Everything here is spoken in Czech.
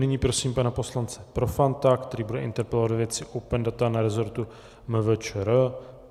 Nyní prosím pana poslance Profanta, který bude interpelovat ve věci open data na resortu MVČR.